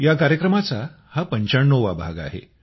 या कार्यक्रमाचा हा 95 वा भाग आहे